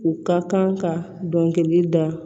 U ka kan ka dɔnkili da